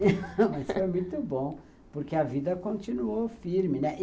Mas foi muito bom, porque a vida continuou firme, né.